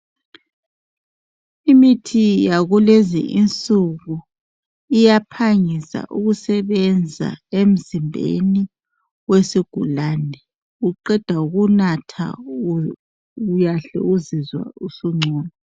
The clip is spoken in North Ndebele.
Imithi yakulezi insuku, iyaphangisa ukusebenza emzimbeni wesigulane uqeda ukunatha uyahle uzizwe usungcono.